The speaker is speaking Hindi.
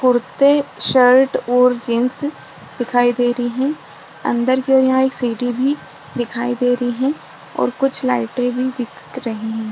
कुर्ते शर्ट और जीन्स दिखाई दे रही है अंदर की और यहाँ एक सीढी भी दिखाई दे रही है और कुछ लाइटे भी दिख रही है।